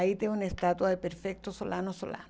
Aí tem uma estátua de Solano Solano.